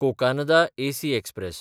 Cocanada AC express